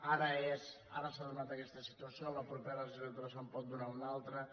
ara s’ha donat aquesta situació en la propera legislatura se’n pot donar una altra